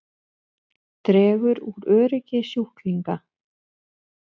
Dregur úr öryggi sjúklinga